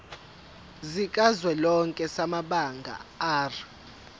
sikazwelonke samabanga r